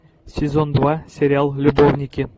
сезон два сериал любовники